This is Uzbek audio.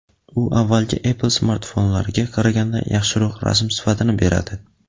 u avvalgi Apple smartfonlariga qaraganda yaxshiroq rasm sifatini beradi.